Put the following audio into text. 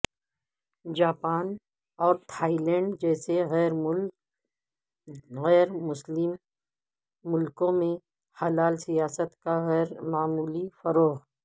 Japan اور Thailand جیسے غیرمسلم ملکوں میں حلال سیاحت کا غیرمعمولی فروغ